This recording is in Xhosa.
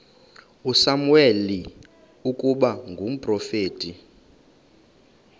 usamuweli ukuba ngumprofeti